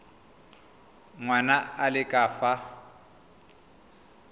ngwana a le ka fa